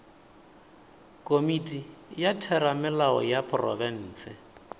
komiti ya theramelao ya profense